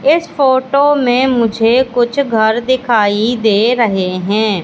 इस फोटो में मुझे कुछ घर दिखाई दे रहे हैं।